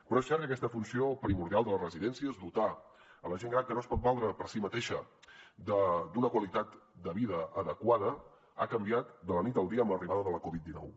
però és cert que aquesta funció primordial de la residència que és dotar a la gent gran que no es pot valdre per si mateixa d’una qualitat de vida adequada ha canviat de la nit al dia amb l’arribada de la covid dinou